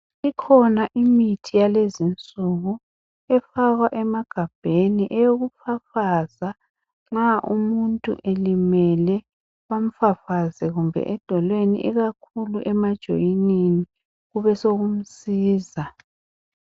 Ikhona imithi yalezi nsuku efakwa emagabheni eyokufafaza nxa umuntu elimele bamfafaze kumbe edolweni ikakhulu emajoyinini kube sokumsiza.